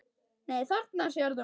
Þarna sérðu, maður.